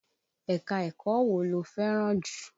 Ẹ̀ka-ẹ̀kọ́ wo lo fẹ́ràn jù?